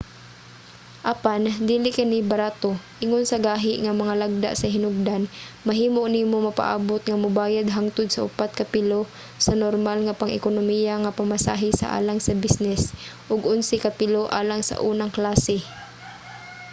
apan dili kini barato: ingon sa gahi nga mga lagda sa hinugdan mahimo nimo mapaabut nga mobayad hangtod sa upat ka pilo sa normal nga pang-ekonomiya nga pamasahe sa alang sa bisnis ug onse ka pilo alang sa unang klase!